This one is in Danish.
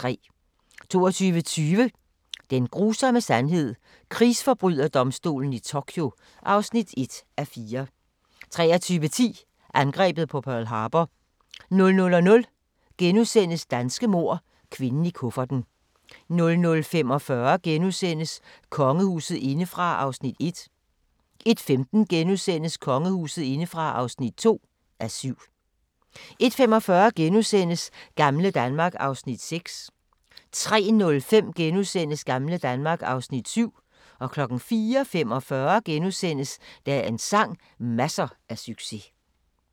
22:20: Den grusomme sandhed - krigsforbryderdomstolen i Tokyo (1:4) 23:10: Angrebet på Pearl Harbor 00:00: Danske mord – kvinden i kufferten * 00:45: Kongehuset indefra (1:7)* 01:15: Kongehuset indefra (2:7)* 01:45: Gamle Danmark (Afs. 6)* 03:05: Gamle Danmark (Afs. 7)* 04:45: Dagens sang: Masser af succes *